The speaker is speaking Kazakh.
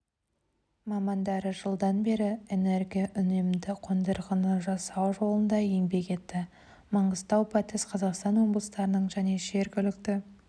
мамандары жылдан бері энергоүнемді қондырғыны жасау жолында еңбек етті маңғыстау батыс қазақстан облыстарының және жергілікті